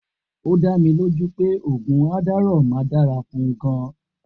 O da mí ló jú pẹ oògùn Adderall ma dára fún gan